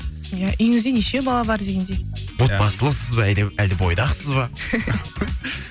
иә үйіңізде неше бала бар дегендей отбасылысыз ба әлде әлде бойдақсыз ба